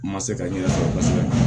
N ma se ka ɲɛ sɔrɔ kosɛbɛ